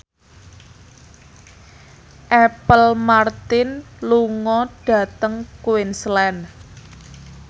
Apple Martin lunga dhateng Queensland